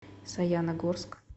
саяногорск